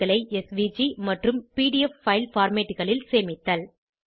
chartகளை SVG மற்றும் PDF file formatகளில் சேமித்தல்